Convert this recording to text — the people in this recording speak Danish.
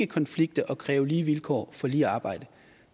konflikte og kræve lige vilkår for lige arbejde